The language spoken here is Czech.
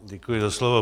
Děkuji za slovo.